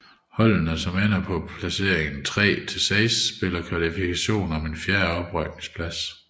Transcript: Holdene som ender på placeringerne 3 til 6 spiller kvalifikation om en fjerde oprykningsplads